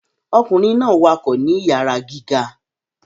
Ọkunrin náà wakọ ni iyara gíga